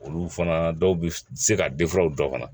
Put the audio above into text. Olu fana dɔw bɛ se ka dɔ fana